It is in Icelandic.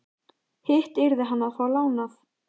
Hitt yrði hann að fá lánað.